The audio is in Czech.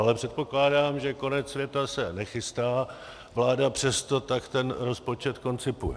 Ale předpokládám, že konec světa se nechystá, vláda přesto tak ten rozpočet koncipuje.